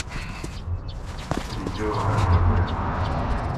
видео эрпэгэ